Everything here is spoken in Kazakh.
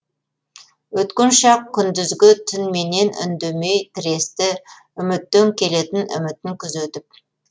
өткен шақ күндізгі түнменен үндемей тіресті үміттен келетін үмітін күзетіп